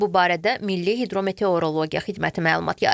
Bu barədə Milli Hidrometeorologiya Xidməti məlumat yayıb.